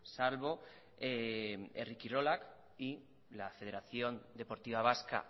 salvo herri kilorak y la federación deportiva vasca